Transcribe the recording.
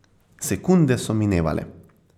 Sekunde so minevale.